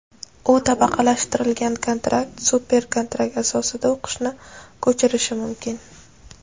u tabaqalashtirilgan kontrakt (super kontrakt) asosida o‘qishni ko‘chirishi mumkin.